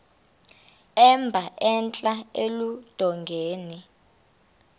emba entla eludongeni